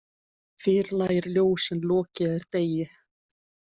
Fyrr lægir ljós en lokið er degi.